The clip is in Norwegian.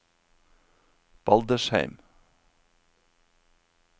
Baldersheim